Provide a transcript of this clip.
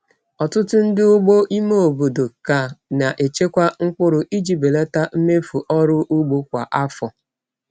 Ọtụtụ ndị ugbo ime obodo ka na-echekwa mkpụrụ iji belata mmefu ọrụ ugbo kwa afọ.